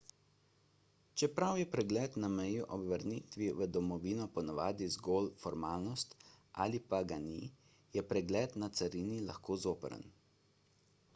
čeprav je pregled na meji ob vrnitvi v domovino ponavadi zgolj formalnost ali pa ga ni je pregled na carini lahko zoprn